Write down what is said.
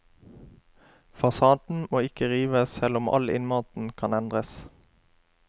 Fasaden må ikke rives selv om all innmaten kan endres.